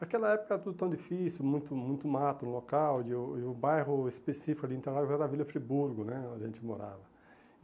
Naquela época tudo tão difícil, muito muito mato no local, e o e o bairro específico de Interlagos era a Vila Friburgo né, onde a gente morava.